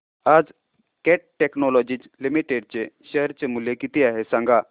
आज Cat technologies limited चे share चे मूल्य किती आहे सांगा